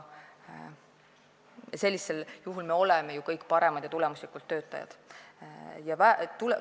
Sellisel juhul oleme me ju kõik paremad töötajad ja töötame tulemuslikult.